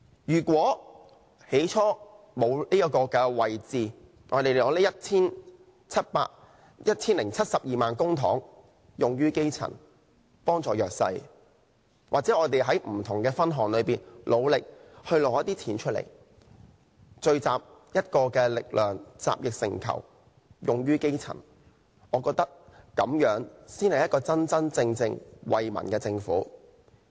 如果沒有這職位，我們可把這 1,072 萬元公帑用於基層，幫助弱勢社群；又或我們在不同的分項支出上努力爭取削減一些金額，聚集力量，集腋成裘，用於基層，我覺得這樣才是一個真正為民的政府。